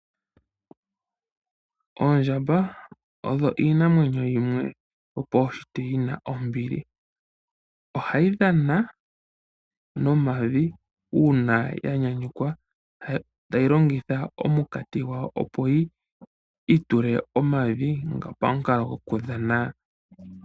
Oondjamba odho iinwenyo yimwe yo paushitwe yina ombili ohayi dhana noomavi una ya nyanyukwa tayi longitha omukati gwawo opo yitule omavi pamukalo gwokuthana.